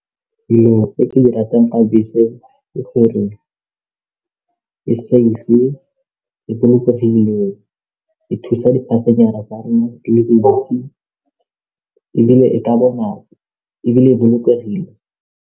Dilo tse ke di ratang ka bese ke gore e safe, e bolokegile e thusa tsa rona di le dintsi ebile ebile e bolokegile.